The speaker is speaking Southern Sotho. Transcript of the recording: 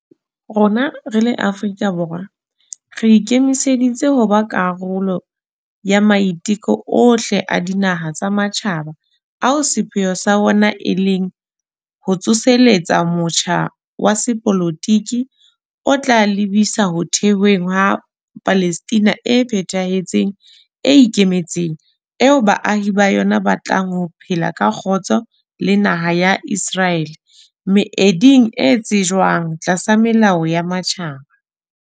Rona re le Afrika Borwa, re ikemiseditse ho ba karolo ya maiteko ohle a dinaha tsa matjhaba ao sepheo sa ona e leng ho tsoseletsa motjha wa sepolotiki o tla lebisa ho thehweng ha Palestina e phethahetseng e ikemetseng. Eo baahi ba yona ba tlang ho phela ka kgotso le naha ya Iseraele, meeding e tsejwang tlasa melao ya matjhaba.